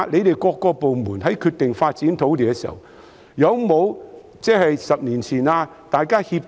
政府各部門決定發展某幅土地時，會否在發展前互相協調？